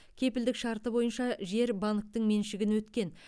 кепілдік шарты бойынша жер банктің меншігіне өткен